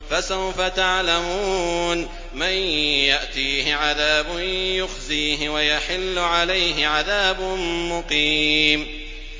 فَسَوْفَ تَعْلَمُونَ مَن يَأْتِيهِ عَذَابٌ يُخْزِيهِ وَيَحِلُّ عَلَيْهِ عَذَابٌ مُّقِيمٌ